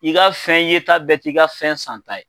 I ka fɛn ye ta bɛɛ t'i ka fɛn san ta ye